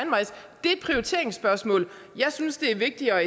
et prioriteringsspørgsmål jeg synes det er vigtigere at